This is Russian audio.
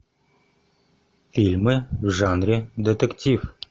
фильмы в жанре детектив